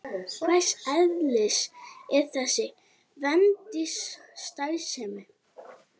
Hvers eðlis er þessi vændisstarfsemi?